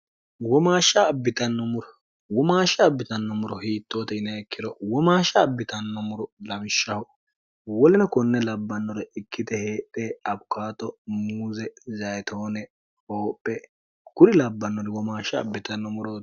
womaashsha abbitannommuro hiittoote yinehekkiro womaashsha abbitannommuro lamshshaho woline konne labbannore ikkite heedhe abukato muuze zayitoone hoophe kuri labbannori womaashsha abbitannomuro